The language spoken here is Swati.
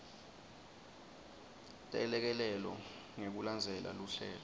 telekelelo ngekulandzela luhlelo